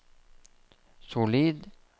solid